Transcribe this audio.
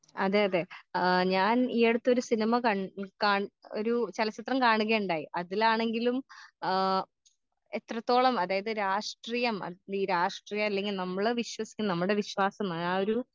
അതെ അതെ ആ ഞാൻ ഈയടുത്തൊരു സിനിമ കൺ കൺ ഒരു ചലച്ചിത്രം കാണുകയുണ്ടായി അതിലാണെങ്കിലും ആ എത്രത്തോളം അതായത് രാഷ്ട്രീയം ഈ രാഷ്ട്രീയല്ലെങ്കി നമ്മളെ വിശ്വസിക്കുന്ന നമ്മടെ വിശ്വാസം ആ